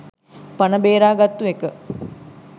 පන බේරා ගත්තු එක.